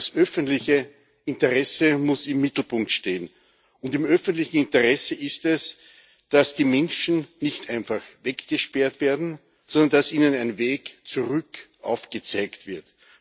Das öffentliche Interesse muss im Mittelpunkt stehen, und im öffentlichen Interesse ist es, dass die Menschen nicht einfach weggesperrt werden, sondern dass ihnen ein Weg zurück aufgezeigt wird.